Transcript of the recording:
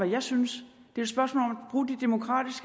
jeg synes